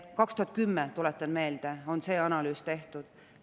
2010, tuletan meelde, on see analüüs tehtud.